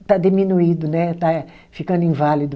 está diminuído né, está ficando inválido.